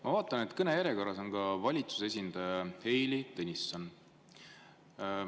Ma vaatan, et kõnejärjekorras on ka valitsuse esindaja Heili Tõnisson.